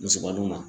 Musobaw ma